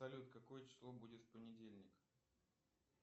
салют какое число будет в понедельник